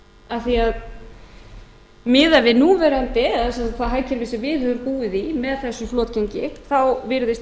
af því miðað við núverandi eða sem sagt með því hagkerfi sem við höfum búið í með þessu flotgengi þá virðist